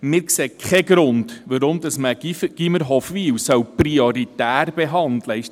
Wir sehen keinen Grund, weshalb wir das Gymnasium Hofwil prioritär behandeln sollten.